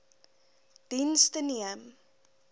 diens the neem